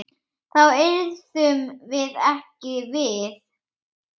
Þá yrðum við ekki við.